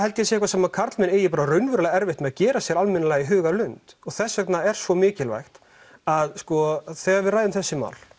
sé eitthvað sem karlmenn eiga raunverulega erfitt með að gera sér almennilega í hugarlund og þess vegna er svo mikilvægt að þegar við ræðum þessi mál